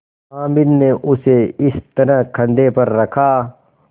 हामिद ने उसे इस तरह कंधे पर रखा